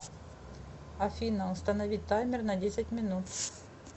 афина установить таймер на десять минут